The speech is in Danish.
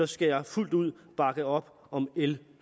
skal jeg fuldt ud bakke op om l